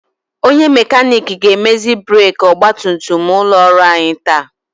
Onye mekanik ga-emezi breki ọgbatumtum ụlọ ọrụ anyị taa.